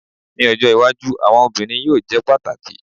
Ni ojo iwaju awọn obirin yoo jẹ pataki